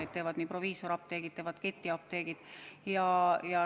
Neid teevad proviisoriapteegid ja teevad ketiapteegid.